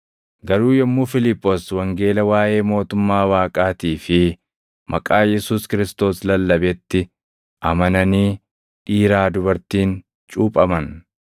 Garuu yommuu Fiiliphoos wangeela waaʼee mootummaa Waaqaatii fi maqaa Yesuus Kiristoos lallabetti amananii dhiiraa dubartiin cuuphaman.